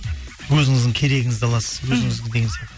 өзіңіздің керегіңізді аласыз өзіңіздің деген сияқты